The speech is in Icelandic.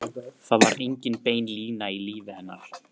Það var engin bein lína í lífi hennar.